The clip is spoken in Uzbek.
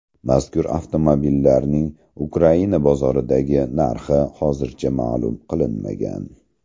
Mazkur avtomobillarning Ukraina bozoridagi narxi hozircha ma’lum qilinmagan.